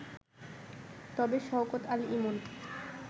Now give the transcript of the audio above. তবে শওকত আলী ইমন